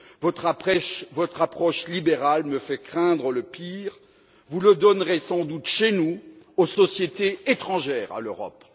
Votre approche libérale me fait craindre le pire. Vous le donnerez sans doute chez nous aux sociétés étrangères à l'Europe.